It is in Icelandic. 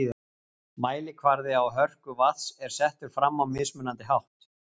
Mælikvarði á hörku vatns er settur fram á mismunandi hátt.